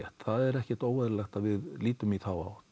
ekkert óeðlilegt að við lítum í þá